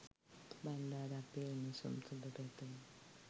බන්ඩාර අපේ උණුසුම් සුබ පැතුම්